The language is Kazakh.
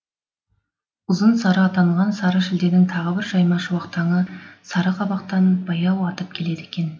ұзын сары атанған сары шілденің тағы бір жайма шуақ таңы сары қабақтан баяу атып келеді екен